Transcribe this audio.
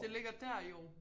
Det ligger dér jo